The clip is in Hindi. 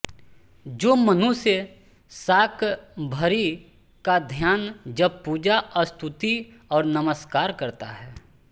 जो मनुष्य शाकम्भरी का ध्यान जब पूजा स्तुति और नमस्कार करता है